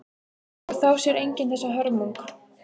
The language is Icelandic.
Og þá sér enginn þessa hörmung.